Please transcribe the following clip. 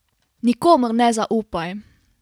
Nikomur ne zaupaj!